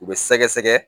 U bɛ sɛgɛsɛgɛ